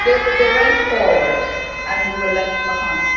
us they went forward and we were left